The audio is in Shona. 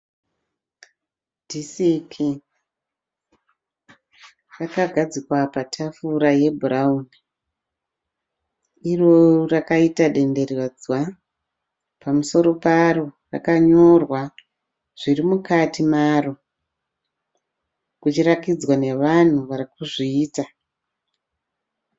Dhisiki rakagadzikwa patafura yebhurauni, iro rakaita denderedzwa. Pamusoro paro rakanyorwa zviri mukati maro kuchirakidzwa nevanhu varikuzviita.